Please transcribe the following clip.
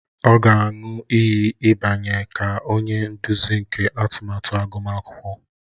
Ọ ga-aṅụ iyi ịbanye ka onye nduzi nke atụmatụ agụmakwụkwọ